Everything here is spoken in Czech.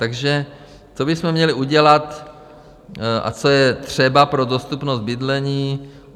Takže co bychom měli udělat a co je třeba pro dostupnost bydlení?